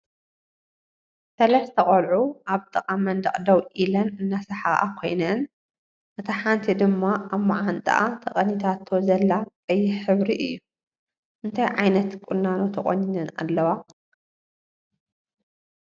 ሰለስተ ቀልዑ ኣብ ጥቃ መንደቅ ደው ኢለን እናሰሓቃ ኮይነን እታ ሓንቲ ድማ ኣብ ማዓንጣአ ተቀኒታቶ ዘላ ቀይሕ ሕብሪ እዩ። ንታይ ዓይነት ቁኖ ተቆኒነን ኣለዋ?